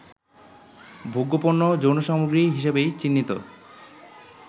ভোগ্যপণ্য, যৌনসামগ্রী হিসেবেই চিহ্নিত